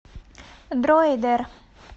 дроидер